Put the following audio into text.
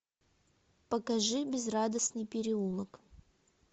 покажи безрадостный переулок